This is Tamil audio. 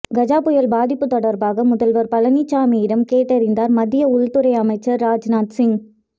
கஜா புயல் பாதிப்பு தொடர்பாக முதல்வர் பழனிசாமியிடம் கேட்டறிந்தார் மத்திய உள்துறை அமைச்சர் ராஜ்நாத்சிங்